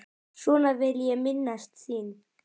Svona vil ég minnast þín.